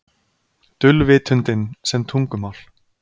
Dulvitundin sem tungumál